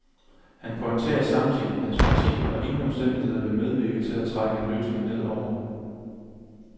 Han pointerer samtidig, at hans parti under ingen omstændigheder vil medvirke til at trække en løsning ned over